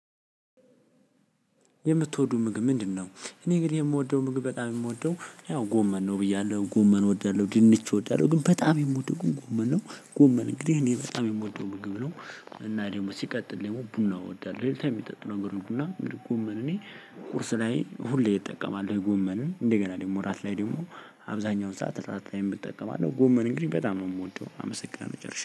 የምትወዱ ምግብ ምንድነው? እኔ ግን የምወደው ምግብ በጣም የምወደው ያው ጎመን ነው ብያለሁ ጎመን እወዳለሁ ድንች እወዳለሁ ግን በጣም የምወደው ጎመን ነው። ጎመን እንግዲህ እኔ በጣም የምወደው ምግብ ነው እና ደግሞ ሲቀጥል ደግሞ ቡና እወዳለሁ ሌሊታ ከሚጠጡ ነገርሮች ቡና። ምን እኔ ቁርስ ላይ ሁሌ እጠቀማለሁ ጎመንን እንደገና ደግሞ ወራት ላይ ደግሞ አብዛኛውን ሰዓት ተጣጣሚ እጠቀማለሁ። ጎመን እንግዲህ በጣም ነው የምወደው አመሰግናለሁ ጨርሼ።